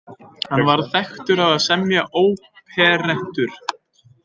Hann varð þekktur á að semja óperettur.